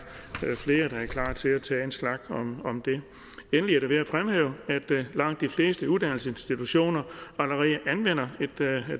flere der er klar til at tage en snak om om det endelig er det værd at fremhæve at langt de fleste uddannelsesinstitutioner allerede anvender et